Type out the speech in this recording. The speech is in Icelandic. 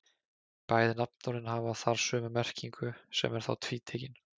Bæði nafnorðin hafa þar sömu merkingu sem er þá tvítekin.